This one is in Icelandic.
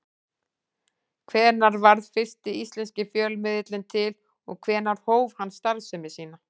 Hvenær varð fyrsti íslenski fjölmiðillinn til og hvenær hóf hann starfsemi sína?